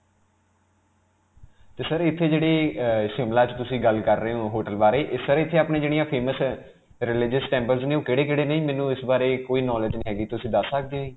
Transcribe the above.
'ਤੇ sir, ਇਥੇ ਜਿਹੜੇ ਅਅ Shimla 'ਚ ਤੁਸੀਂ ਗੱਲ ਕਰ ਰਹੇ ਹੋ hotel ਬਾਰੇ ਇਹ sir ਇਥੇ ਆਪਣੀਆਂ ਜਿਹੜੀਆਂ famous ਅਅ religious temple ਨੇ ਉਹ ਕਿਹੜੇ-ਕਿਹੜੇ ਨੇ, ਮੈਨੂੰ ਇਸ ਬਾਰੇ ਕੋਈ knowledge ਨਹੀਂ ਹੈ ਜੀ. ਤੁਸੀਂ ਦਸ ਸਕਦੇ ਹੋ ਜੀ?